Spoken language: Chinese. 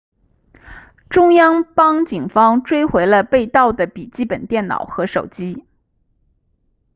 中央邦警方追回了被盗的笔记本电脑和手机